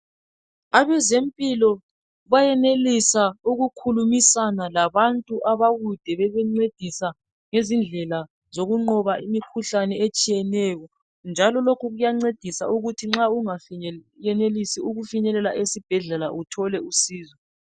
abezempilo bayenelisa ukukhulumisana labantu abakude bebancedisa ngezindlela zokunqoba imikhuhlane etshiyeneyo njalo lokhu kuyancedisa ukuthi nxa ungenelisi ukufinyelela esibhedlela uthole usizo